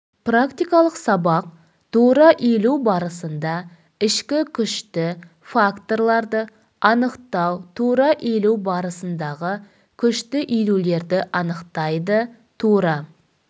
практикалық сабақ тура иілу барысында ішкі күшті факторларды анықтау тура иілу барысындағы күшті иілулерді анықтайды тура